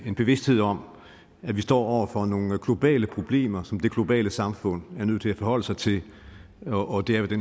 en bevidsthed om at vi står over for nogle globale problemer som det globale samfund er nødt til at forholde sig til og det er jo det